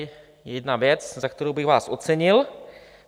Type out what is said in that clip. To je jedna věc, za kterou bych vás ocenil.